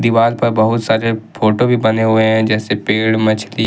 Wall पर बहुत सारे फोटो भी बने हुए हैं जैसे पेड़ मछली।